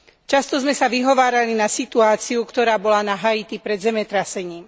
Často sme sa vyhovárali na situáciu, ktorá bola na Haiti pred zemetrasením.